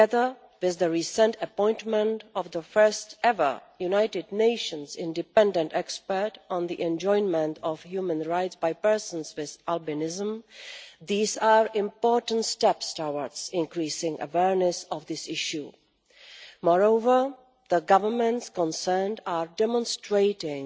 That and the recent appointment of the first ever United Nations independent expert on the enjoyment of human rights by persons with albinism are important steps towards increasing awareness of this issue. Moreover, the governments concerned are demonstrating